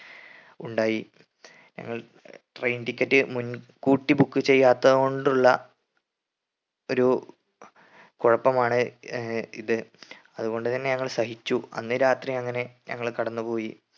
ഉണ്ടായി ഞങ്ങൾ train ticket മുൻകൂട്ടി book ചെയ്യാത്തതു കൊണ്ടുള്ള ഒരു കൊഴപ്പമാണ് ഏർ ഇത് അതുകൊണ്ട് തന്നെ ഞങ്ങൾ സഹിച്ചു അന്ന് രാത്രി അങ്ങനെ ഞങ്ങള് കടന്നുപോയി